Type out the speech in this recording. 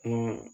Ko